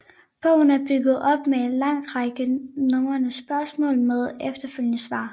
Bogen er bygget op med en lang række nummererede spørgsmål med efterfølgende svar